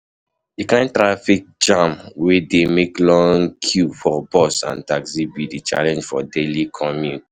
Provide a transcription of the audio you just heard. di kain traffic jam wey dey make long queues for bus and taxi be di challenge for daily commute.